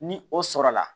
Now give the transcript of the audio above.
Ni o sɔrɔla